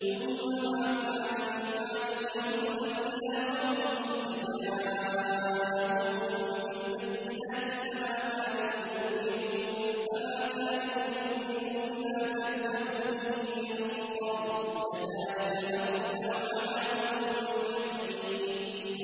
ثُمَّ بَعَثْنَا مِن بَعْدِهِ رُسُلًا إِلَىٰ قَوْمِهِمْ فَجَاءُوهُم بِالْبَيِّنَاتِ فَمَا كَانُوا لِيُؤْمِنُوا بِمَا كَذَّبُوا بِهِ مِن قَبْلُ ۚ كَذَٰلِكَ نَطْبَعُ عَلَىٰ قُلُوبِ الْمُعْتَدِينَ